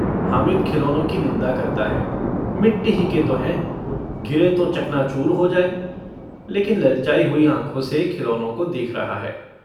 हामिद खिलौनों की निन्दा करता है - मिट्टी ही के तो हैं, गिरें तो चकनाचूर हो जाएँ। लेकिन ललचाई हुई आँखों से खिलौनों को देख रहा है।